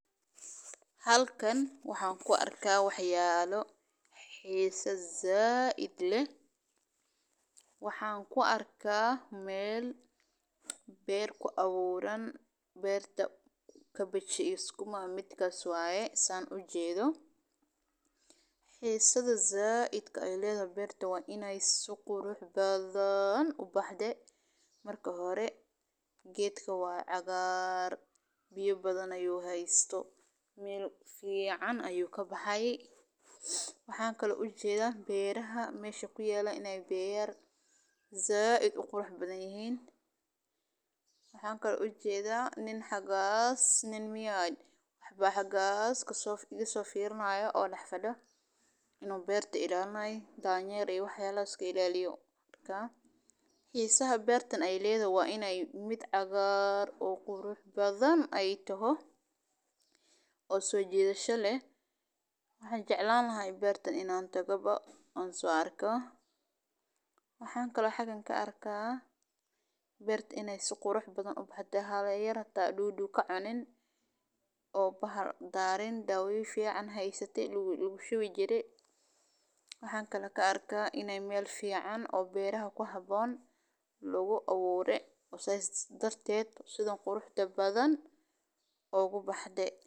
Halkan waxan ku arka waxyalo xisa said leh waxan ku arka meel beer kuawuran beerta kabej iyo sukuma waye san ujedho, xisaha saidka eledhahq beerta waa in si qurux badan u baxde marka hore geedka waa cagar biyo badan ayu hasto meel fican ayu kabaxay waxan kalo ujedha beer said uqurux badan yihin, waxan ujedha wax ba xagas iga sofirinayo oo isofirinayo xisaha bertan waa in ee toho mid said u qurux badan oo sojidasho leh waxan jeclan lahay beertan in an tago oo sojidasha leh waxan kalo xagan ka arka beerta in ee si qurux badan ubaxde oo bahal darin, sithas darted oo sithan quruxda badan ogu baxde.